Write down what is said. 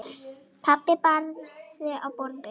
Pabbi barði í borðið.